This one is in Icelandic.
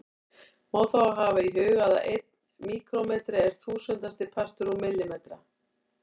Má þá hafa í huga að einn míkrómetri er þúsundasti partur úr millimetra.